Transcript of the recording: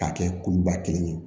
K'a kɛ kuluba kelen ye